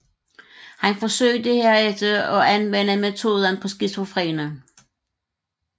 Han forsøgte herefter at anvende metoden på skizofrene